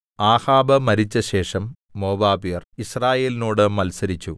ആഹാബ് മരിച്ചശേഷം മോവാബ്യർ യിസ്രായേലിനോട് മത്സരിച്ചു